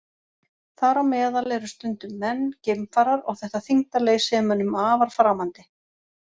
Þar á meðal eru stundum menn, geimfarar, og þetta þyngdarleysi er mönnum afar framandi.